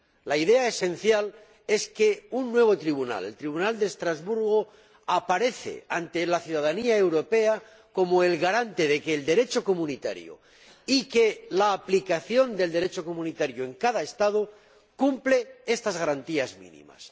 La idea esencial es que un nuevo tribunal, el Tribunal de Estrasburgo, aparece ante la ciudadanía europea como el garante del Derecho comunitario y de que la aplicación del Derecho comunitario en cada Estado cumple esas garantías mínimas.